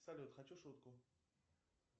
салют хочу шутку